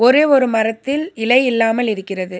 ஒரே ஒரு மரத்தில் இலை இல்லாமல் இருக்கிறது.